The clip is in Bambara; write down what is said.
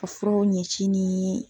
Ka furaw ɲɛci ni .